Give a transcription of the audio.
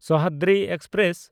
Sahyadri express